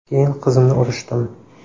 Keyin qizimni urishdim.